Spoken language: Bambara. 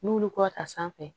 N'olu kɔ ta sanfɛ